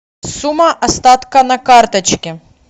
сумма остатка на карточке